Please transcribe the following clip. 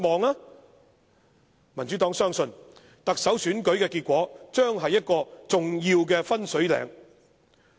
民主黨相信，特首選舉結果將是一個重要的分水嶺。